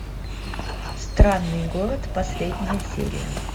странный город последняя серия